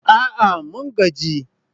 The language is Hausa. A'a! mun gaji